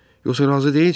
Yoxsa razı deyilsən?